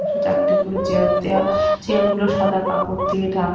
চারটে করে চেয়ার দেওয়া চেয়ার গুলো সাদা কাপড় দিয়ে ঢা--